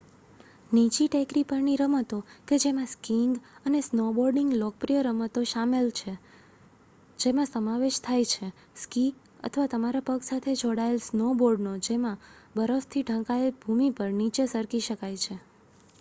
નીચી ટેકરી પરની રમતો કે જેમાં સ્કીઇંગ અને સ્નોબોર્ડિંગ લોકપ્રિય રમતો શામેલ છે જેમાં સમાવેશ થાય છે સ્કી અથવા તમારા પગ સાથે જોડાયેલ સ્નોબોર્ડનો જેમાં બરફથી ઢંકાયેલ ભૂમિ પર નીચે સરકી શકાય છે